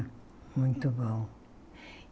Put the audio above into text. Muito bom.